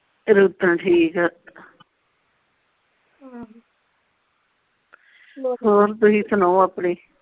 ਰੂਤਾਂ ਠੀਕ ਆ ਹਾਂ ਤੁਸੀਂ ਸੁਣਾਓ ਆਪਣੀ।